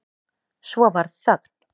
Svo varð þögn.